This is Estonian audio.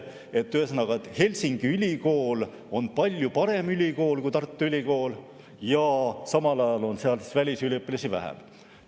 Ühesõnaga, Helsingi Ülikool on palju parem ülikool kui Tartu Ülikool, aga samal ajal on seal välisüliõpilasi vähem.